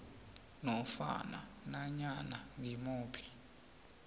nofana nanyana ngimuphi